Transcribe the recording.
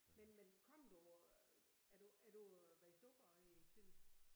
Men men kom du øh er du er du vokset op øh i Tønder?